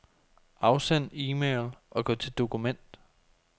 Afsend e-mail og gå til dokument.